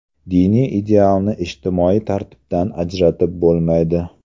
Diniy idealni ijtimoiy tartibdan ajratib bo‘lmaydi.